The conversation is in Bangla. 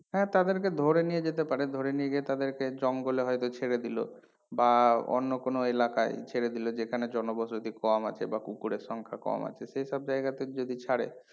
হ্যাঁ তাদের কে ধরে নিয়ে যেতে পারে ধরে নিয়ে গিয়ে তাদেরকে জঙ্গল এ হয়তো ছেড়ে দিলো বা অন্য কোনো এলাকায় ছেড়ে দিলো যেখানে জনবসতি কম আছে বা কুকুরের সংখ্যা কম আছে সেসব জায়গাতে যদি ছাড়ে